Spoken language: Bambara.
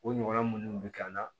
O ɲɔgɔnna minnu bɛ kɛ an na